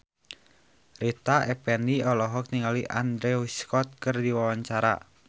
Rita Effendy olohok ningali Andrew Scott keur diwawancara